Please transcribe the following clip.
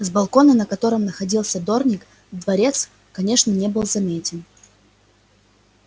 с балкона на котором находился дорник дворец конечно не был заметен